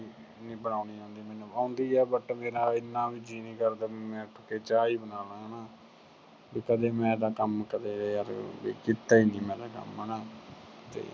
ਨੀ ਬਣਾਉਂਦੀ ਆਉਂਦੀ ਮੈਨੂੰ। ਆਉਂਦੀ ਆ but ਮੇਰਾ ਇੰਨਾ ਵੀ ਜੀਅ ਨੀ ਕਰਦਾ ਮੈਂ ਉੱਠ ਕੇ ਚਾਹ ਹੀ ਬਣਾ ਲਾ ਹਨਾ। ਵੀ ਕਦੇ ਮੈਂ ਤਾਂ ਕੰਮ ਕਦੇ ਯਾਰ ਵੀ ਕੀਤਾ ਈ ਨਹੀਂ ਮੈਂ ਤਾਂ ਕੰਮ ਹਨਾ ਤੇ ਅਹ